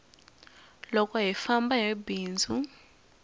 loko hi famba hi famba hi bindzu